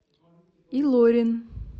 илорин